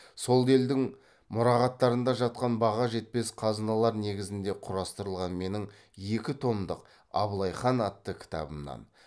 сол елдің мұрағаттарында жатқан баға жетпес қазыналар негізінде құрастырылған менің екі томдық абылай хан атты кітабымнан